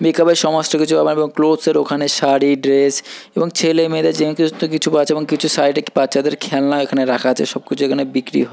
Makeup এর সমস্ত কিছু আবার এখন ক্লথসের ওখানে শাড়ি ড্রেস এবং ছেলে মেয়েদের যে সমস্ত কিছু আছে এবং কিছু সাইড -এ বাচ্ছাদের খেলনা এখানে রাখা আছে সব কিছু এখানে বিক্রি হয়।